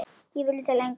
Ég vildi lengra.